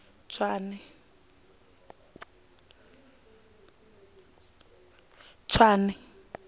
tswane